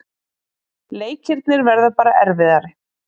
Leikirnir verða bara erfiðari